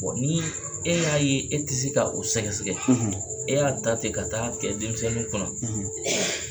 ni e y'a ye e ti se ka o sɛgɛsɛgɛ , e y'a ta ten ka taa kɛ denmisɛnninw kɔnɔ